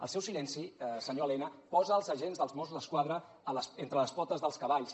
el seu silenci senyor elena posa els agents dels mossos d’esquadra entre les potes dels cavalls